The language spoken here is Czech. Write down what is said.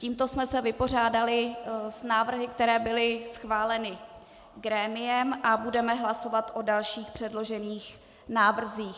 Tímto jsme se vypořádali s návrhy, které byly schváleny grémiem, a budeme hlasovat o dalších předloženích návrzích.